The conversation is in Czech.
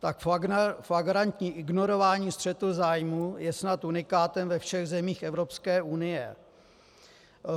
Tak flagrantní ignorování střetu zájmů je snad unikátem ve všech zemích Evropské unie.